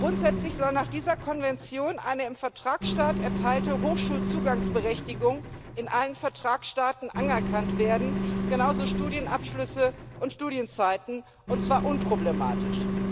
Grundsätzlich soll nach dieser Konvention eine im Vertragsstaat erteilte Hochschulzugangsberechtigung in allen Vertragsstaaten anerkannt werden, genauso Studienabschlüsse und Studienzeiten, und zwar unproblematisch.